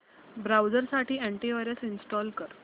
browser साठी anti virus install कर